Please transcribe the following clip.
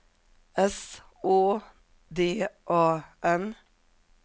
S Å D A N